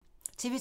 TV 2